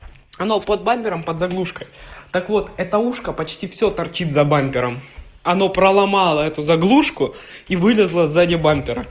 оно под бампером под заглушкой так вот это ушко почти все торчит за бампером она проломало эту заглушку и вылезла сзади бампера